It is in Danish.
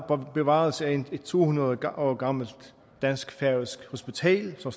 og bevarelse af et to hundrede år gammelt dansk færøsk hospital som